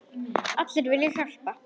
Allir vilja hjálpa.